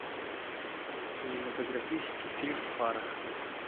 кинематографический фильм фара